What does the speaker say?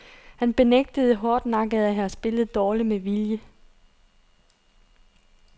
Han benægtede hårdnakket at have spillet dårligt med vilje.